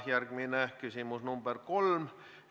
Järgmine küsimus, number 3.